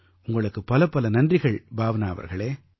உங்களுக்குப் பலப்பல நன்றிகள் பாவ்னா அவர்களே